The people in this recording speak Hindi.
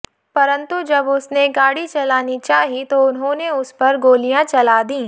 परन्तु जब उसने गाड़ी चलानी चाही तो उन्होंने उस पर गोलियां चला दीं